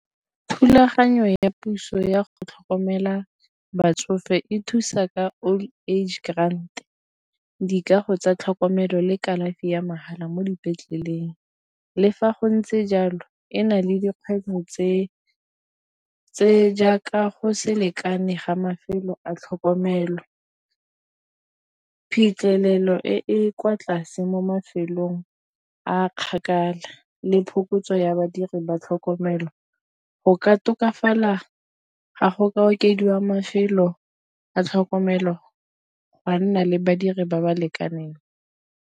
Thulaganyo ya puso ya go tlhokomela batsofe e thusa ka old age grant. Dikago tsa tlhokomelo le kalafi ya mahala mo dipetleleng le fa go ntse jalo ena le dikgang tse jaaka go selekane ga mafelo a tlhokomelo. Phitlhelelo e e kwa tlase mo mafelong a kgakala e le phokotso ya badiri ba tlhokomelo go ka tokafala ga go ka okediwa mafelo a tlhokomelo gwa nna le badiri ba ba lekaneng.